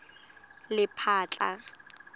lephatla